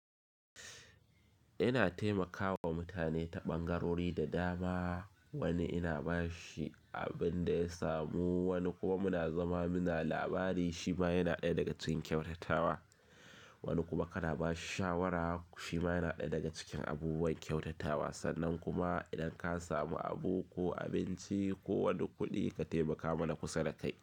Yana taimakawa mutane ta ɓangarori da dama. Wani ina bashi abin da ya samu, wani kuma muna zama muna labari shima yana ɗaya daga cikin kyautatawa. Wani kuma kana bashi shawara shima yana ɗaya daga cikin abubuwan kyautatawa. Sannan kuma idan ka samu abu ko abinci ko wani kuɗi ka taimaka mana kusa da kai.